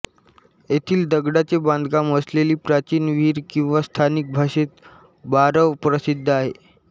येथिल दगडाचे बांधकाम असलेली प्राचीन विहीर किंवा स्थानिक भाषेत बारव प्रसिद्ध आहे